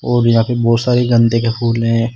और यहां पे बहुत सारी गंदे के फूल है।